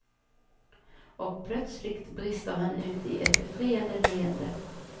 Och plötsligt brister han ut i ett befriande leende.